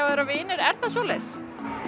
að vera vinir er það svoleiðis